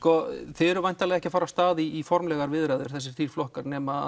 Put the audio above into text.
þið eruð væntanlega ekki að fara af stað í formlegar viðræður þessir þrír flokkar nema